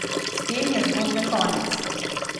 S tem je zgodbe konec.